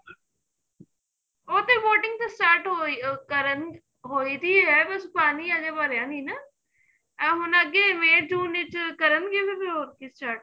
ਹੁਣ ਤੇ boating start ਹੋਈ ਕਰਨ ਹੋਈ ਥੀ ਏ ਬੱਸ ਪਾਣੀ ਅਜੇ ਭਰਿਆ ਨੀਂ ਨਾ ਇਹ ਅੱਗੇ may june ਵਿੱਚ ਕਰਨ ਗੇ start